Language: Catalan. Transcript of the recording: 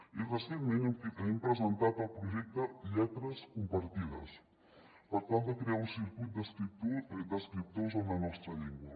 i recentment hem presentat el projecte lletres compartides per tal de crear un circuit d’escriptors en la nostra llengua